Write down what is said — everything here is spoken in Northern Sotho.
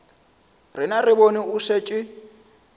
rena re bone o šetše